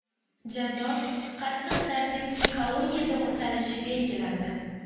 Jazo qattiq tartibli koloniyada o‘talishi belgilandi.